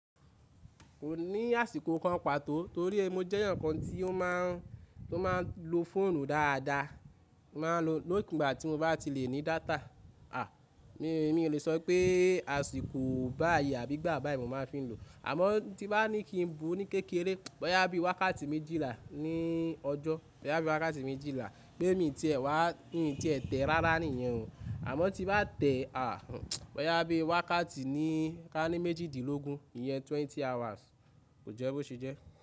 Kò ní àsìkò kan pàtó torí mo jẹ́ èèyàn kan tí ó máa ń, tó máa ń lo fóònù dáadáa. Mo máa ń lo nígbà tí mo bá ti lè ní data. À, mí, mí ò lè sọ pé àsìkò báyìí àbí ìgbà báyìí mo máa fi ń lò. Àmọ́ tí bá ní kí n bu ní kékeré, bóyá bí i wákàtí méjìlá ní ọjọ́, bóyá bí i wákàtí méjìlá pé mi ti ẹ̀ wá, mi ti ẹ̀ tẹ̀ rárá nìyẹn o. Àmọ́ tí bá tẹ̀, à, bóyá bí i wákàtí ní, ká ní méjìdínlógún, ìyẹn twenty hours, kò jẹ́ bó ṣe jẹ́.